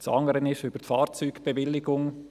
Das andere ist über die Fahrzeugbewilligung.